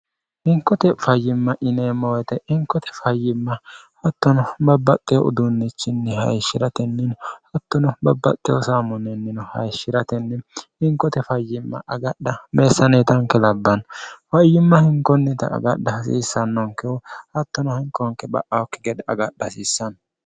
hinkote fayyimma ineemmoyite inkote fayyimma hattono babbaqqee uduunnichinni hayishshi'ratennini hattono babbaqqe husaamonneennino hayishshi'ratenni hinkote fayyimma agadha meessaneetanke labbanno fayyimma hinkonnita agadha hasiissannonkehu hattono hinkonke ba'ahokki gedhe agadha hasiissanno